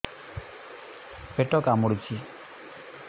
ପେଟ କାମୁଡୁଛି